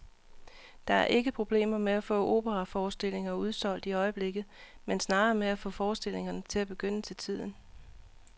Der er ikke problemer med at få operaforestillinger udsolgt i øjeblikket, men snarere med at få forestillingerne til at begynde til tiden.